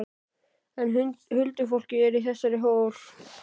En huldufólkið er í þessum hól!